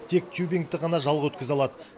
тек тюбингті ғана жалға өткізе алады